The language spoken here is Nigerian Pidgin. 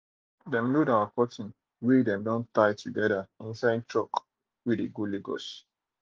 dem load our cotton wey dem don tie together inside truck wey de go lagos